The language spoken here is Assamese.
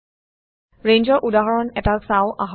ৰেঞ্জৰ উদাহৰণ এটা চাওঁ আহক